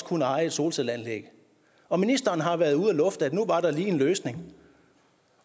kunne eje et solcelleanlæg og ministeren har været ude at lufte at nu var der lige en løsning